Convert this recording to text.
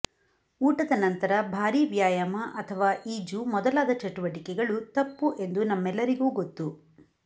ಊಟದ ನಂತರ ಭಾರೀ ವ್ಯಾಯಾಮ ಅಥವಾ ಈಜು ಮೊದಲಾದ ಚಟುವಟಿಕೆಗಳು ತಪ್ಪು ಎಂದು ನಮ್ಮೆಲ್ಲರಿಗೂ ಗೊತ್ತು